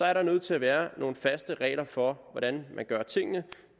er der nødt til at være nogle faste regler for hvordan man gør tingene